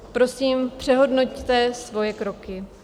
Prosím, přehodnoťte svoje kroky.